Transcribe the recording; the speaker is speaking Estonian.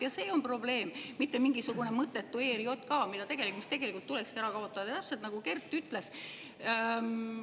Ja see on probleem, mitte mingisugune mõttetu ERJK, mis tegelikult tulekski ära kaotada, täpselt nagu Kert ütles.